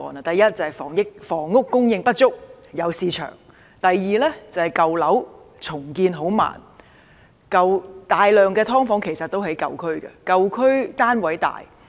第一，就是房屋供應不足，有市場；第二，舊樓重建緩慢；大量"劏房"其實也位於舊區，因為舊區的單位較大。